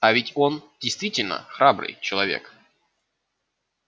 а ведь он действительно храбрый человек